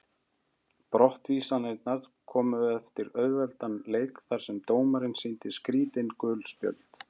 Brottvísanirnar komu eftir auðveldan leik þar sem dómarinn sýndi skrítin gul spjöld.